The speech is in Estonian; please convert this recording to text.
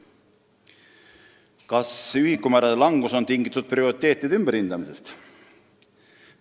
Küsimus nr 4: "Kas ühikumäärade langus on tingitud prioriteetide ümberhindamisest?